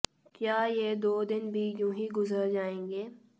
क्या ये दो दिन भी यूँ ही गुजर जाएँगे